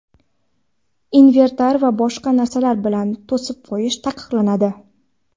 inventar va boshqa narsalar bilan to‘sib qo‘yish taqiqlanadi.